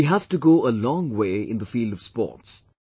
We have to go a long way in the field of sports